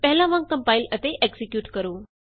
ਪਹਿਲਾਂ ਵਾਂਗ ਕੰਪਾਇਲ ਅਤੇ ਐਕਜ਼ੀਕਿਯੂਟ ਕਰੋ